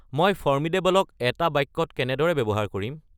মই ফ'ৰ্মিডেবলক এটা বাক্যত কেনেদৰে ব্যৱহাৰ কৰিম